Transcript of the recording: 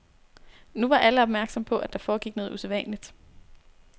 Nu var alle opmærksomme på, at der foregik noget usædvanligt.